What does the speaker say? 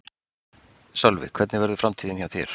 Sölvi: Hvernig verður framtíðin hjá þér?